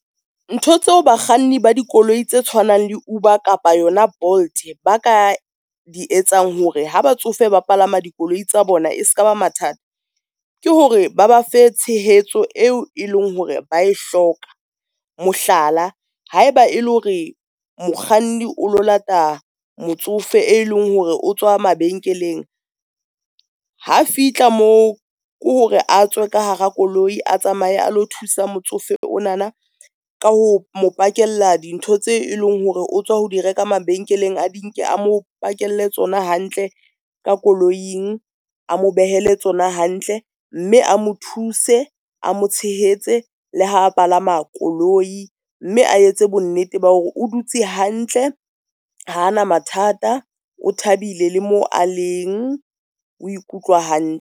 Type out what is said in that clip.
Ntho tseo bakganni ba dikoloi tse tshwanang le Uber kapa yona Bolt ba ka di etsang hore ha batsofe ba palama dikoloi tsa bona e ska ba mathata, ke hore ba ba fe tshehetso eo e leng hore ba e hloka. Mohlala, haeba e le hore mokganni o lo lata motsofe, e leng hore o tswa mabenkeleng, ha fihla moo ko hore a tswe ka hara koloi, a tsamaye a lo thusa motsofe ona na ka ho mo pakella dintho tseo eleng hore o tswa ho di reka mabenkeleng. A di nke a mo pakelle tsona hantle ka koloing, a mo behele tsona hantle mme a mo thuse, a mo tshehetse le ha a palama koloi mme a etse bonnete ba hore o dutse hantle ha a na mathata, o thabile le mo a leng o ikutlwa hantle.